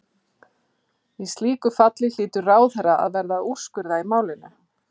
Í slíku falli hlýtur ráðherra að verða að úrskurða í málinu.